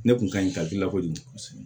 Ne kun ka ɲi ka gila kojugu